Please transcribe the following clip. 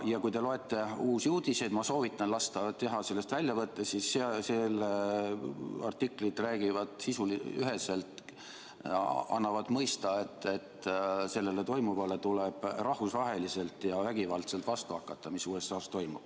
Ja kui te loete Uusi Uudiseid – ma soovitan teil lasta sellest väljavõtteid teha –, siis selle artiklid annavad üheselt mõista, et sellele, mis USA-s toimub, tuleb rahvusvaheliselt ja vägivaldselt vastu hakata.